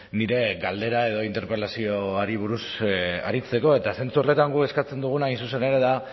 nire galdera edo interpelazioari buruz aritzeko eta zentzu horretan guk eskatzen duguna hain zuzen ere da